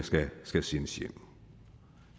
skal sendes hjem